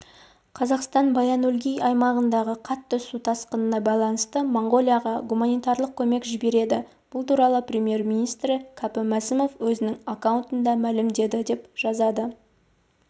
қазақстан баян-өлгий аймағындағы қатты су тасқынына байланысты моңғолияға гуманитарлық көмек жібереді бұл туралы премьер-министрі кәпім мәсімов өзінің аккаунтында мәлімдеді деп жазады